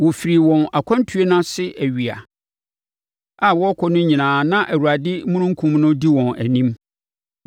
Wɔfirii wɔn akwantuo no ase awia a wɔrekɔ no nyinaa na Awurade omununkum no di wɔn anim.